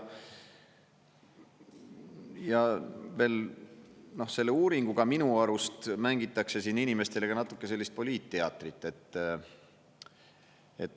Ja veel, selle uuringuga, minu arust mängitakse siin inimestele ka natuke sellist poliitteatrit.